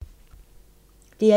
DR1